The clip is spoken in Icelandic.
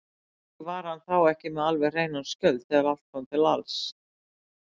Kannski var hann þá ekki með alveg hreinan skjöld þegar allt kom til alls.